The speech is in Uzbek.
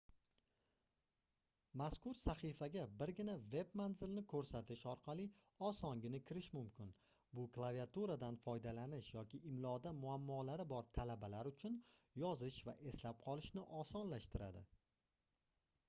mazkur sahifaga birgina veb-manzilni koʻrsatish orqali osongina kirish mumkin bu klaviaturadan foydalanish yoki imloda muammolari bor talabalar uchun yozish va eslab qolishni osonlashtiradi